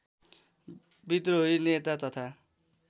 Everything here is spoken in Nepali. विद्रोही नेता तथा